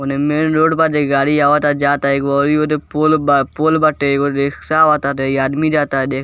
ओने main road बा जे गाड़ी आवता जाता एगो ओरी ओदे पोल बा पोल बाटे एगो रिक्सा आवा ता एगो आदमी जाता देख --